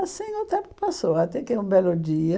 Assim o tempo passou, até que um belo dia...